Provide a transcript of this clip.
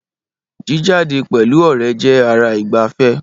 Jíjáde pẹ̀lú ọ̀rẹ́ jẹ́ ara ìgbàfẹ́